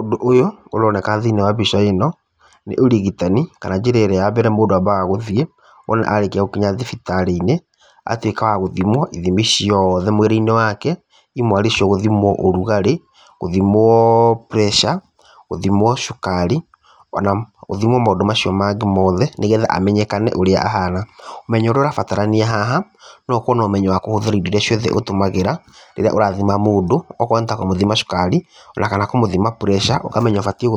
Ũndũ ũyũ ũroneka thĩiniĩ wa mbica ĩno, nĩ ũrigitani kana njĩra ĩrĩa ya mbere mũndũ ambaga gũthiĩ wona arĩkia gũkinya thibitarĩ-inĩ. Agatuĩka wa gũthimwo ithimi ciothe mwĩrĩ-inĩ wake, imwe arĩ cio gũtimwo ũrugarĩ, gũthimwo pressure, gũthimwo cukari, ona gũthimwo maũndũ macio mangĩ mothe nĩgetha amenyekane ũrĩa ahana. Ũmenyo ũrĩa ũrabatarania haha nĩ ũkorwo na ũmenyo wa indo iria ciothe ũtũmagĩra rĩrĩa ũrathima mũndũ, akorwo nĩ kũmũthima cukari, ona kana kũmũthima pressure ũkamenya ũbatiĩ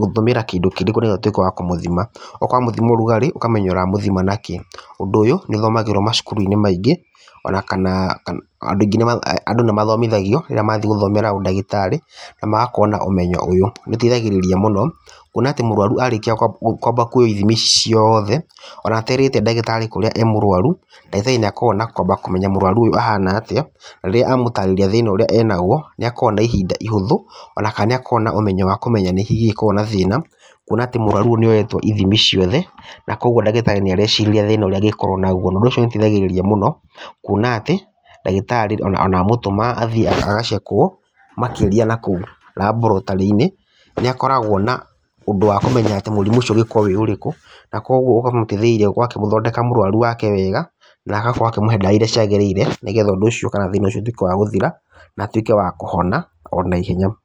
gũtũmĩra kĩndũ kĩrĩkũ, nĩgetha ũtuĩke wa kũmũthima, ũkamũthima ũrugarĩ ũkamenya ũramũthima na kĩĩ. Ũndũ ũyũ nĩũthomagĩrwo macukuru maingĩ, ona kana andũ nĩmathomithagio rĩrĩa mathiĩ gũthomera ũndagĩtarĩ na magakorwo na ũmenyo ũyũ. Nĩũteithagĩrĩria muno kuona atĩ mũrwaru arĩkia kwamba kuoywo ithimi ici ciothe, ona aterĩte ndagĩtarĩ kũrĩa arĩ mũrwaru ndagĩtarĩ nĩakoragwo na kwamba kũmenya mũrwaru ũyũ ahana atĩa, rĩrĩa amũtarĩria thĩna ũrĩa arĩ naguo nĩakũragwo na ihinda ihũthũ ona kana nĩ akoragwo na ũmenyo wa kũmenya nĩkĩĩ kĩngĩkorwo, na thĩna kuona mũrwaru ũyũ nĩakoragwo na ithimi ciothe, na koguo ndagĩtarĩ nĩarecirĩrĩria thĩna ũrĩa ngĩkorwo naguo. Na ũndũ ũcio nĩũteithagĩrĩria mũno kuona atĩ ndagĩtarĩ ona amutũma athiĩ agacekwo makĩria nakũu laboratory -inĩ, nĩakoragwo na ũndũ wa kũmenya mũrimũ ũcio ũngĩkorwo ũrĩ ũrĩkũ. Na koguo ũkamũteithĩrĩria gũkorwo agĩthondeka mũrwaru wake wega, na agakorwo akĩmũhe ndawa iria ciagĩrĩire, nĩgetha ũndũ ũcio kana thĩna ũcio ũtuĩke wa gũthira na atuĩke wa kũhona ona ihenya.